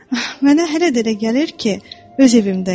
Mənə hələ də elə gəlir ki, öz evimdəyəm.